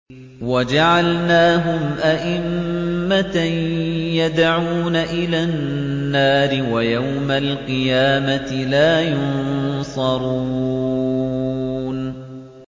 وَجَعَلْنَاهُمْ أَئِمَّةً يَدْعُونَ إِلَى النَّارِ ۖ وَيَوْمَ الْقِيَامَةِ لَا يُنصَرُونَ